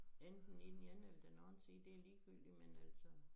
Enten i den ene eller den anden side det er ligegyldigt med altså